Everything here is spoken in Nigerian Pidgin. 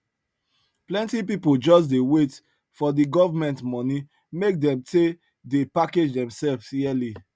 plenty pipo just dey wait for the government money make dem tey dey package themselves yearly